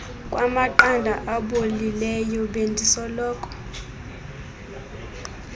kwamaqanda abolileyo bendisoloko